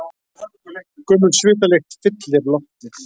Gömul svitalykt fyllir loftið.